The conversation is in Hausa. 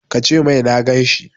Ka ce mai na gan shi!